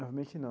Novamente, não.